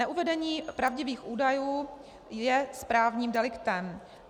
Neuvedení pravdivých údajů je správním deliktem.